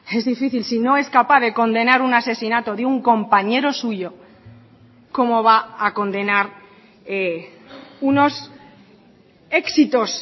es difícil si no es capaz de condenar un asesinato de un compañero suyo cómo va a condenar unos éxitos